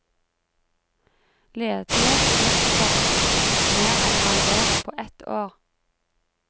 Ledighet og mistilpasning mer enn halvert på ett år.